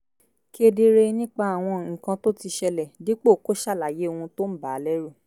kedere nípa àwọn nǹkan tó ti ṣẹlẹ̀ dípò kó ṣàlàyé ohun tó ń bà á lẹ́rù